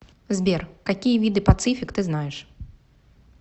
сбер какие виды пацифик ты знаешь